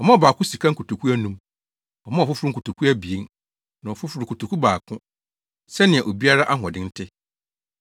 Ɔmaa ɔbaako sika nkotoku anum. Ɔmaa ɔfoforo nkotoku abien na ɔfoforo, kotoku baako, sɛnea obiara ahoɔden te.